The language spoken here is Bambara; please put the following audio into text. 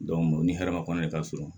o ni hɛrɛ ma kɔn ne ka surun